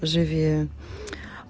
живи